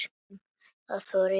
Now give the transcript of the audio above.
Þorir ekkert að segja.